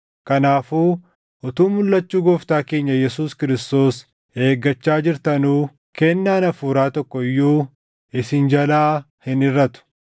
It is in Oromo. Kanaafuu utuu mulʼachuu Gooftaa keenya Yesuus Kiristoos eeggachaa jirtanuu kennaan hafuuraa tokko iyyuu isin jalaa hin hirʼatu.